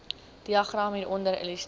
diagram hieronder illustreer